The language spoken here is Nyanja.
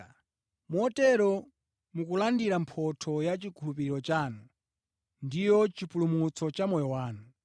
Motero mukulandira mphotho ya chikhulupiriro chanu, ndiyo chipulumutso cha moyo wanu.